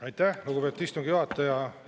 Aitäh, lugupeetud istungi juhataja!